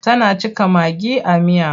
Tana cika magi a miya.